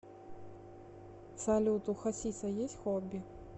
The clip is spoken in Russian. салют у хасиса есть хобби